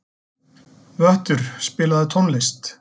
Vöttur, spilaðu tónlist.